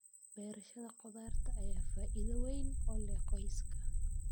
Beerashada khudaarta ayaa faa'iido weyn u leh qoyska.